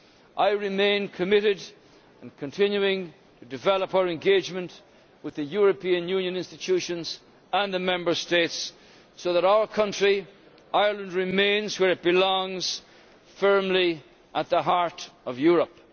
I remain committed to continuing to develop our engagement with the European Union institutions and the Member States so that our country, Ireland, remains where it belongs firmly at the heart of Europe.